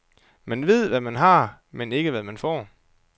Man ved, hvad man har, men ikke hvad man får.